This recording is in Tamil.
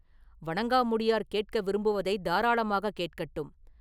வணங்காமுடியார் கேட்க விரும்புவதைத் தாராளமாகக் கேட்கட்டும்.